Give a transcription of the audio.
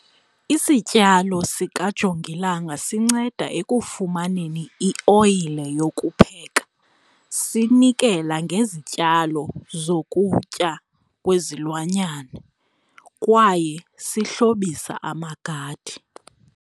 Isityalo sikajongilanga sinceda ekufumaneni ioyile yokupheka, sinikela ngezityalo zokutya kwezilwanyana kwaye sihlobisa amagadi.